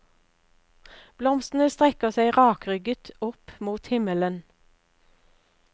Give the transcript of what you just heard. Blomstene strekker seg rakrygget opp mot himmelen.